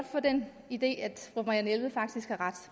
få den idé at fru marianne jelved faktisk har ret